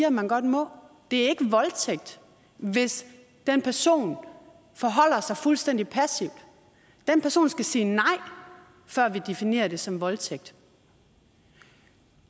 at man godt må det er ikke voldtægt hvis den person forholder sig fuldstændig passivt den person skal sige nej før vi definerer det som voldtægt